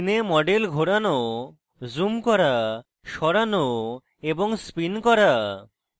screen model ঘোরানো zoom করা সরানো এবং spin করা